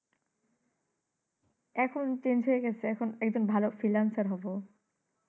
এখন change হয়ে গেছে। এখন একজন ভালো freelancer হব